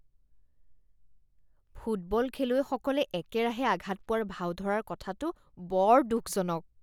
Football খেলুৱৈসকলে একেৰাহে আঘাত পোৱাৰ ভাও ধৰাৰ কথাটো বৰ দুখজনক।